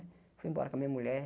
Fui embora com a minha mulher.